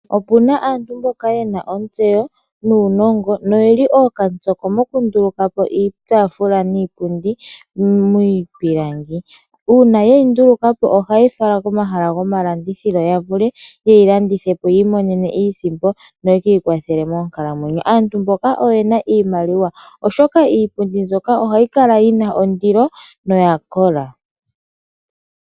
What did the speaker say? Opu na aantu mboka ye na ontseyo nuunongo noye li ookatsoko mokundulukapo iitafula niipundi miipilangi uuna ye yi ndulukapo ohaye yi fala komahala gomalandithilo ya vule ye yi landithepo yi imonene iisimpo noye kiikwathele moonkalamwenyo. Aantu mboka oye na iimaliwa oshoka iipundi mbyoka ohayi kala yi na ondilo noya kola.